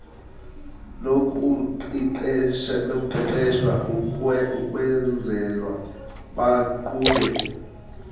lokuqeqeshwa ukwenzelwa baqhube